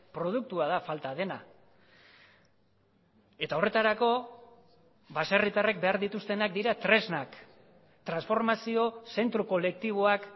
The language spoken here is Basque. produktua da falta dena eta horretarako baserritarrek behar dituztenak dira tresnak transformazio zentro kolektiboak